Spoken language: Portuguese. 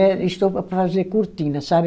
É estopa para fazer cortina, sabe?